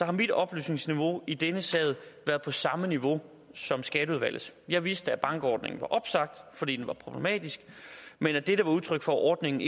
at mit oplysningsniveau i denne sag har været på samme niveau som skatteudvalgets jeg vidste at bankordningen var opsagt fordi den var problematisk men at dette var udtryk for at ordningen